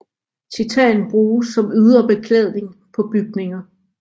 Titan bruges som ydre beklædning på bygninger